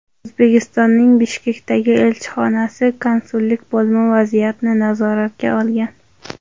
O‘zbekistonning Bishkekdagi elchixonasi Konsullik bo‘limi vaziyatni nazoratga olgan.